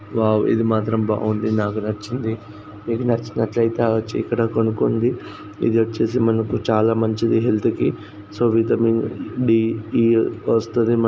ఇది మాత్రం బాగుంది. నాకు నచ్చింది. మీకు నచ్చినట్లయితే ఇక్కడొచ్చి కొనుక్కోండి. ఇదొచ్చేసి చాలా మంచిది హెల్త్ కి. సో విటమిన్ డి ఈ వస్తది మనకు.